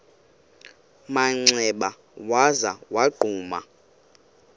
manxeba waza wagquma